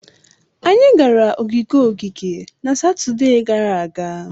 Anyị gara ogige ogige na Satọde gara aga.